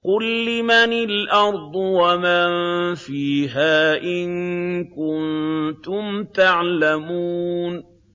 قُل لِّمَنِ الْأَرْضُ وَمَن فِيهَا إِن كُنتُمْ تَعْلَمُونَ